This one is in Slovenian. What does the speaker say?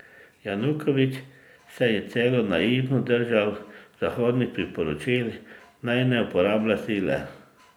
Janukovič se je celo naivno držal zahodnih priporočil naj ne uporablja sile.